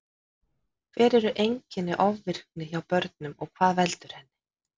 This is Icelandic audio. Hver eru einkenni ofvirkni hjá börnum og hvað veldur henni?